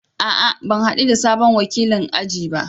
A'a! Ban hadu da sabon wakilin aji ba.